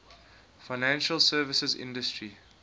financial services industry